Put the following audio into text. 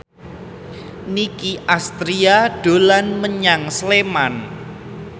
Nicky Astria dolan menyang Sleman